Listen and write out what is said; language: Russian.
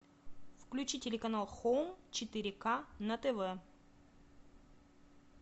включи телеканал хоум четыре ка на тв